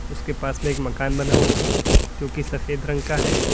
उसके पास में एक मकान बना हुआ है जो कि सफेद रंग का है।